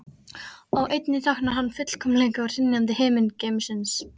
Og einnig táknar hann fullkomleika og hrynjandi himingeimsins.